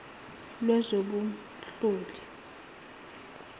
lwezobunhloli